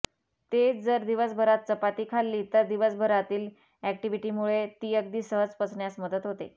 तेच जर दिवसभरात चपाती खाल्ली तर दिवसभरातील अॅक्टिव्हिटीमुळे ती अगदी सहज पचण्यास मदत होते